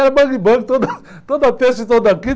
Era bang bang, toda, toda terça e toda quinta.